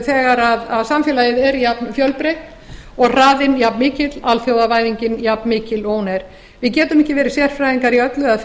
þegar samfélagið er jafnfjölbreytt og hraðinn jafnmikill alþjóðavæðingin jafnmikil og hún er við getum ekki verið sérfræðingar í öllu eða